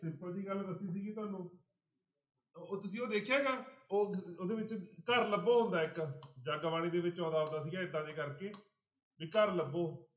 simple ਜਿਹੀ ਗੱਲ ਦੱਸੀ ਸੀਗੀ ਤੁਹਾਨੂੰ ਉਹ ਤੁਸੀਂ ਉਹ ਦੇਖਿਆ ਗਾ ਉਹ ਉਹਦੇ ਵਿੱਚ ਘਰ ਲੱਭੋ ਆਉਂਦਾ ਇੱਕ ਜਗਬਾਣੀ ਦੇ ਵਿੱਚ ਆਉਂਦਾ ਹੁੰਦਾ ਸੀਗਾ ਏਦਾਂ ਜਿਹੇ ਕਰਕੇ ਵੀ ਘਰ ਲੱਭੋ।